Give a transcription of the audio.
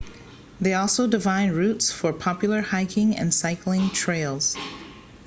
they also define routes for popular hiking and cycling trails